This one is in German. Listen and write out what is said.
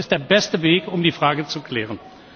Das ist der beste Weg, um die Frage zu klären.